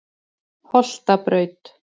Holtabraut